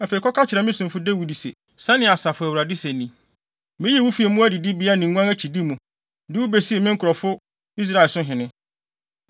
“Afei, kɔka kyerɛ me somfo Dawid se, ‘Sɛnea Asafo Awurade se ni: Miyii wo fii mmoa adidibea ne nguan akyidi mu, de wo besii me nkurɔfo Israel so hene.